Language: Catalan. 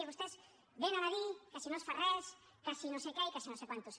i vostès venen a dir que si no es fa res que si no sé què i que no sé quantos